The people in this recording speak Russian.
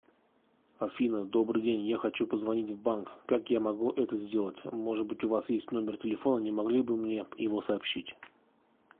афина добрый день я хочу позвонить в банк как я могу это сделать может быть у вас есть номер телефона не могли бы мне его сообщить